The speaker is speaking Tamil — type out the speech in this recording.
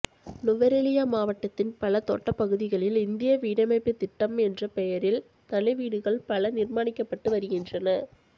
நுவரெலியா மாவட்டத்தின் பல தோட்டப்பகுதிகளில் இந்திய வீடமைப்பு திட்டம் என்ற பெயரில் தனி வீடுகள் பல நிர்மாணிக்கப்பட்டு வருகின்றது